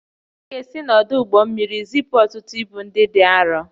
A ga-esi n'ọdụ ụgbọ mmiri zipụ ọtụtụ ibu ndị dị arọ